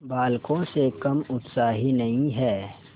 बालकों से कम उत्साही नहीं है